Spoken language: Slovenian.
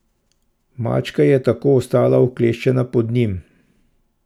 Mačka je tako ostala vkleščena pod njim.